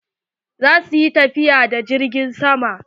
Za su yi tafiya da jirgin sama.